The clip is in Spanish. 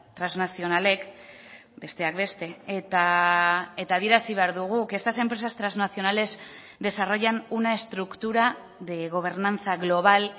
trasnazionalek besteak beste eta adierazi behar dugu que estas empresas transnacionales desarrollan una estructura de gobernanza global